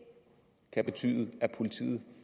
kan betyde at politiet